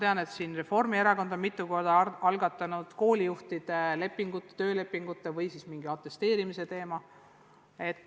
Ma tean, et Reformierakond on mitu korda algatanud koolijuhtide töölepingute või siis mingi atesteerimise teema.